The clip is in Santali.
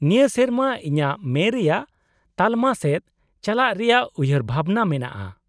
-ᱱᱤᱭᱟᱹ ᱥᱮᱨᱢᱟ ᱤᱧᱟᱹᱜ ᱢᱮ ᱨᱮᱭᱟᱜ ᱛᱟᱞᱟᱢᱟ ᱥᱮᱫ ᱪᱟᱞᱟᱜ ᱨᱮᱭᱟᱜ ᱩᱭᱦᱟᱹᱨᱵᱷᱟᱵᱱᱟ ᱢᱮᱱᱟᱜᱼᱟ ᱾